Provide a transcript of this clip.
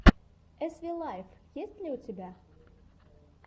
эс ви лайф есть ли у тебя